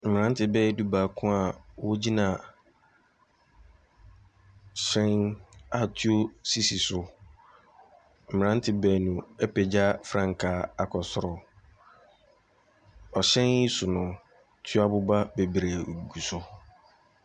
Mmranteɛ bɛyɛ du-baako a wɔgyina hyɛn a tuo sisi so. Mmrante baanu apegya frankaa akɔ soro. Ɛhyɛn yi so no, tu aboba bebree gu so.